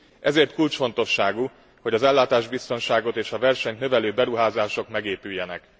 Ezért kulcsfontosságú, hogy az ellátásbiztonságot és a versenyt növelő beruházások megépüljenek.